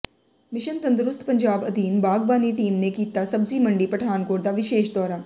mission Tandarust Punjab ਅਧੀਨ ਬਾਗਬਾਨੀ team ਨੇ ਕੀਤਾ ਸਬਜ਼ੀ ਮੰਡੀ ਪਠਾਨਕੋਟ ਦਾ ਵਿਸ਼ੇਸ ਦੋਰਾ